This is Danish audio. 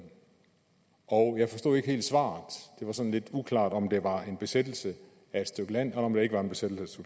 og jeg forstod ikke helt svaret det var sådan lidt uklart om det var en besættelse af et stykke land eller om det ikke var en besættelse